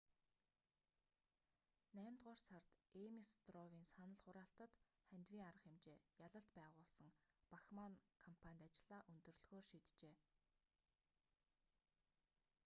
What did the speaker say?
наймдугаар сард эймес стров"-ын санал хураалтад хандивын арга хэмжээ ялалт байгуулсан бахманн кампанит ажлаа өндөрлөхөөр шийджээ